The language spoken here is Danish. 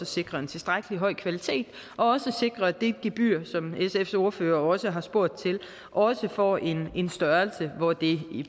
sikre en tilstrækkelig høj kvalitet og at sikre at det gebyr som sfs ordfører også har spurgt til også får en en størrelse hvor det